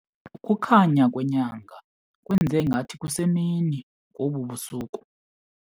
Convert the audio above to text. Ukukhanya kwenyanga kwenze ngathi kusemini ngobu busuku.